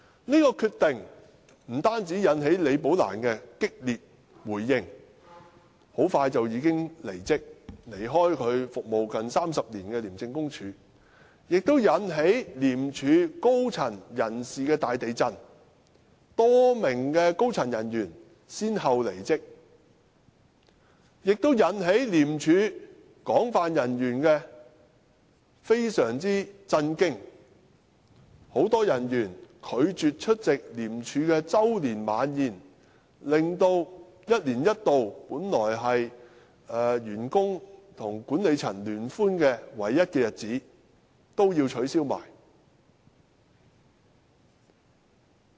這決定不單引起李寶蘭激烈回應，很快便已經離職，離開她服務近30年的廉署，更引致廉署高層大地震，多名高層人員先後離職，令廉署人員非常震驚，很多人員拒絕出席廉署的周年晚宴，令一年一度本來是員工與管理層聯歡的唯一活動也要取消。